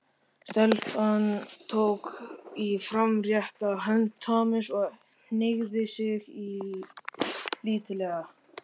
Stelpan tók í framrétta hönd Thomas og hneigði sig lítillega.